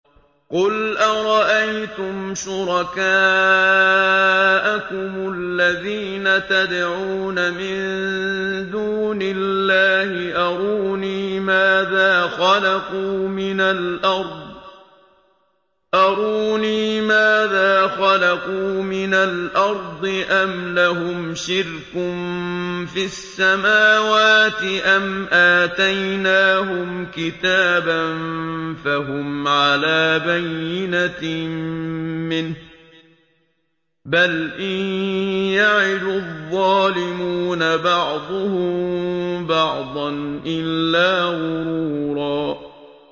قُلْ أَرَأَيْتُمْ شُرَكَاءَكُمُ الَّذِينَ تَدْعُونَ مِن دُونِ اللَّهِ أَرُونِي مَاذَا خَلَقُوا مِنَ الْأَرْضِ أَمْ لَهُمْ شِرْكٌ فِي السَّمَاوَاتِ أَمْ آتَيْنَاهُمْ كِتَابًا فَهُمْ عَلَىٰ بَيِّنَتٍ مِّنْهُ ۚ بَلْ إِن يَعِدُ الظَّالِمُونَ بَعْضُهُم بَعْضًا إِلَّا غُرُورًا